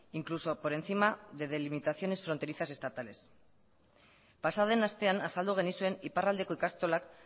incluso por encima de delimitaciones fronterizas estatales pasaden astean azaldu genizuen iparraldeko ikastolak